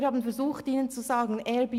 Wir haben ihnen zu sagen versucht: